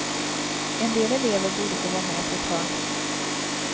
En del elever borde få vara med på ett hörn.